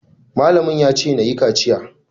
Malamin ya ce nayi kaciya.